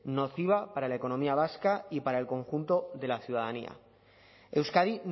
nociva para la economía vasca y para el conjunto de la ciudadanía euskadi